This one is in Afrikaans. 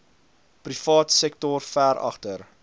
privaatsektor ver agter